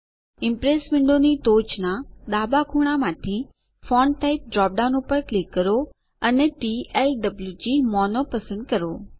Impress વિન્ડોની ટોચના ડાબા ખૂણામાંથીFont ટાઇપ ડ્રોપ ડાઉન પર ક્લિક કરો અને ટીએલડબ્લુજીએમઓનો પસંદ કરો